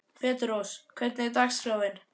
Petrós, hvernig er dagskráin?